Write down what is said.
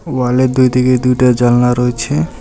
ওয়ালে দুইদিকে দুইটা জানলা রয়েছে।